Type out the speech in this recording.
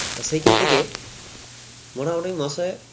তা সেইখান থেকে মোটামুটি মাসে